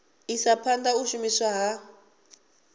isa phanda u shumiswa ha